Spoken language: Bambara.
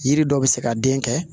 Yiri dɔ bɛ se ka den kɛ